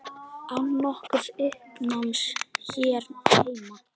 Án nokkurs uppnáms hér heima.